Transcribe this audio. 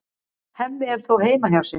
Hemmi er þó heima hjá sér.